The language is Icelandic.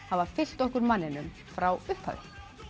hafa fylgt okkur mönnunum frá upphafi